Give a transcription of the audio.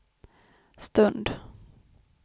stund